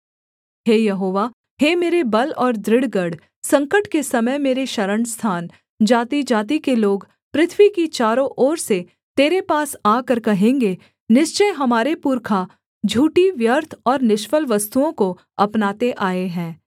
हे यहोवा हे मेरे बल और दृढ़ गढ़ संकट के समय मेरे शरणस्थान जातिजाति के लोग पृथ्वी की चारों ओर से तेरे पास आकर कहेंगे निश्चय हमारे पुरखा झूठी व्यर्थ और निष्फल वस्तुओं को अपनाते आए हैं